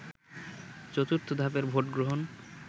চতুর্থ ধাপের ভোটগ্রহণ